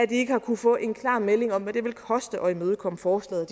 det ikke har kunnet få en klar melding om hvad det vil koste at imødekomme forslaget